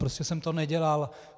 Prostě jsem to nedělal.